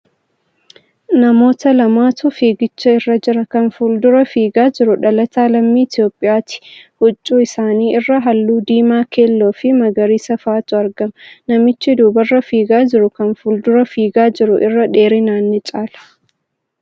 Namoota lamatu fiigicha irra jira. Kan fuuldura fiigaa jiru dhalataa lammii Itiyoophiyyaati. Huccuu isaanii irra haalluu diimaa, keelloo fi magariisa fa'atu argama. Namichi duubarra fiigaa jiru kan fuuldura fiigaa jiru irra dheerinaan ni caala.